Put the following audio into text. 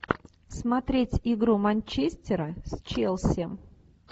смотреть игру манчестера с челси